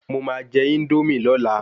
Mo máa jẹ Índómì lọ́la